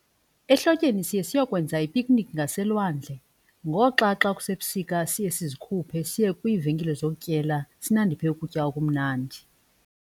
Ehlotyeni siye seyokwenza i-picnic ngaselwandle ngoxa xa kusebusika siye sizikhuphe siye kwiivenkile zokutyela sinandiphe ukutya okumnandi.